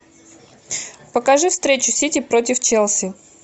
покажи встречу сити против челси